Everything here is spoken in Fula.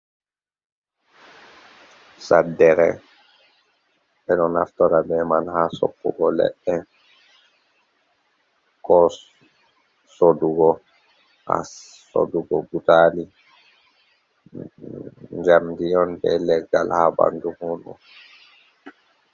Saɗɗere ɓe do naftora ɓe man ha soppugo leɗɗe, ko sodugo a sodugo butali jamdi on ɓe leggal ha ɓandu mundum.